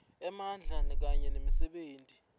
emandla kanye nemisebenti